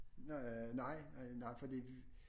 Nej nej fordi